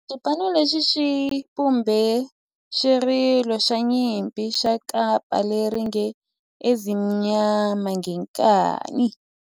Xipano lexi xi vumbe xirilo xa nyimpi xa kampa lexi nge Ezimnyama Ngenkani.